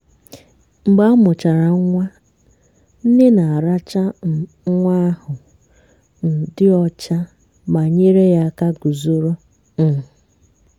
mgbe amuchara nwa nne na-aracha um nwa ahụ um dị ọcha ma nyere ya aka guzoro. um